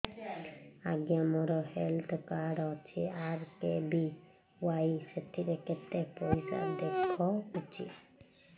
ଆଜ୍ଞା ମୋର health card ଅଛି ଆର୍.କେ.ବି.ୱାଇ ସେଥିରେ କେତେ ପଇସା ଦେଖଉଛି